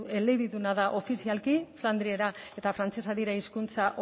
elebiduna da ofizialki flandiera eta frantsesa dira hizkuntza